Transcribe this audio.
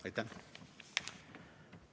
Aitäh!